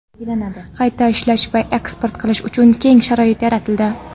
qayta ishlash va eksport qilish uchun keng sharoit yaratildi.